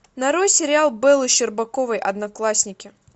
нарой сериал беллы щербаковой одноклассники